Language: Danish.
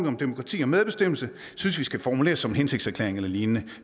om demokrati og medbestemmelse skal formuleres som en hensigtserklæring eller lignende